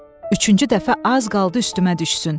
Üçüncü dəfə az qaldı üstümə düşsün.